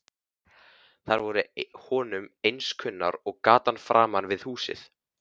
Þær voru honum eins kunnar og gatan framan við húsið.